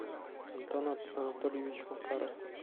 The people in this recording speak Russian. антон анатольевич макаров